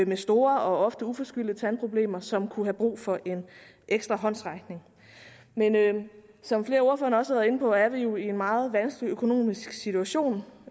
med store og ofte uforskyldte tandproblemer som kunne have brug for en ekstra håndsrækning men som flere af ordførerne også har været inde på er vi jo i en meget vanskelig økonomisk situation